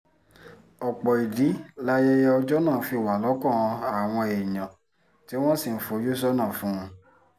ọ̀pọ̀ ìdí layẹyẹ ọjọ́ náà fi wà lọ́kàn àwọn èèyàn tí wọ́n sì ń fojú sọ́nà fún un